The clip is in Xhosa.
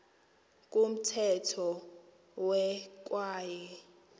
kumthetho we kwaye